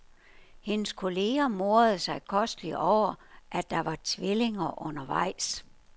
Hendes kolleger morede sig kosteligt over, at der var tvillinger undervejs.